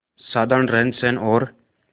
साधारण रहनसहन और